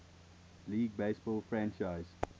league baseball franchise